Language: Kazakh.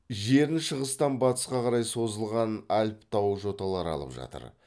жерін шығыстан бастысқа қарай созылған альп тау жоталары алып жатыр